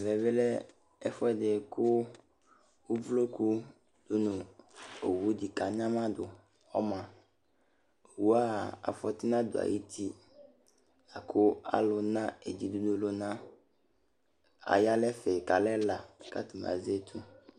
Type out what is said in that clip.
Ɛvɛ lɛ ɛfu ɛdi ku uvloku du nu owu di ku anyama du ɔma Owua afɔti nadu ayu uti aku alu na etibi ɔluna aya nu ɛfɛ ku alɛla ku atani azɛ etu